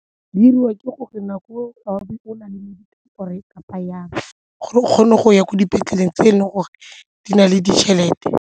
Di 'iriwa ke gore nako eo o na le kapa jang gore o kgone go ya ko dipetleleng tse e leng gore di na le ditšhelete.